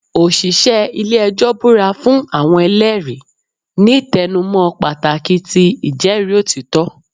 Oṣiṣẹ ile-ẹjọ bura fun awọn ẹlẹri, ni tẹnumọ pataki ti ijẹri otitọ.